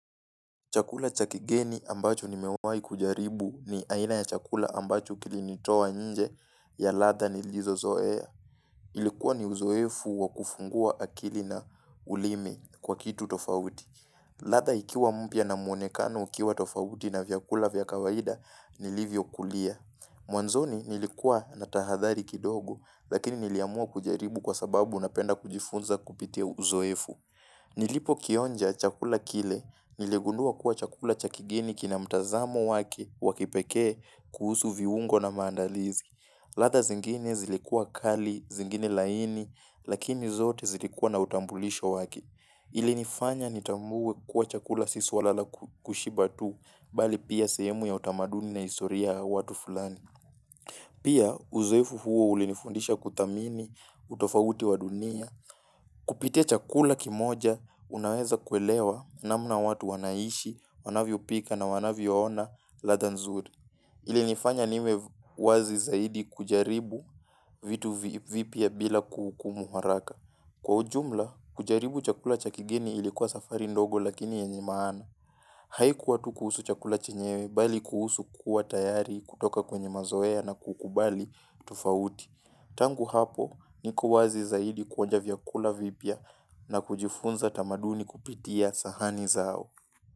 Chakula chakigeni ambacho nimewai kujaribu ni aina ya chakula ambacho kilinitowa nje ya ladha nilizozoea. Ilikuwa ni uzoefu wa kufungua akili na ulimi kwa kitu tofauti. Ladha ikiwa mpia na mwonekano ikiwa tofauti na vyakula vyakawaida nilivyo kulia. Mwanzoni nilikuwa natahadhari kidogo lakini niliamua kujaribu kwa sababu na penda kujifunza kupitia uzoefu. Nilipo kionja chakula kile niligundua kuwa chakula chakegeni kina mtazamo wake wakipeke kuhusu viungo na mandalizi. Ladha zingine zilikua kali, zingine laini, lakini zote zilikua na utambulisho wake. Ilinifanya nitambuwe kuwa chakula sisuala la kushiba tu, bali pia sehemu ya utamaduni na historia watu fulani. Pia uzoefu huo ulinifundisha kuthamini, utofauti wa dunia. Kupite chakula kimoja, unaweza kuelewa na mna watu wanaishi, wanavyo pika na wanavyo ona ladha nzurii. Ile nifanya nime wazi zaidi kujaribu vitu vipya bila kuhuku muharaka. Kwa ujumla, kujaribu chakula cha kigeni ilikuwa safari ndogo lakini yenye maana. Haikuwa tu kuhusu chakula chenyewe, bali kuhusu kuwa tayari kutoka kwenye mazoea na kukubali tufauti. Tangu hapo ni kuwazi zaidi kuonja vyakula vipya na kujifunza tamaduni kupitia sahani zao.